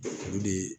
Olu de